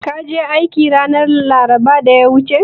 Ka je aiki ranar laraba da ta wuce?